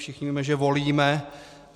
Všichni víme, že volíme.